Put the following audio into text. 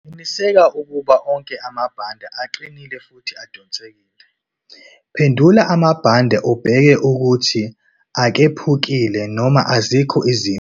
Qinisekisa ukuba onke amabhande aqinile futhi adonsekile. Phendula amabhande ubheke ukuthi akephukile noma azikho izimfa.